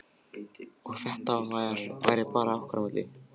Og að þetta væri bara okkar á milli.